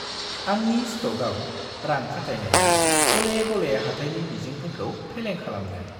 आंनि स्ट'कआव रां खाथायनाया गले गले हाथाइनि मिजिंफोरखौ फेलें खालामदों।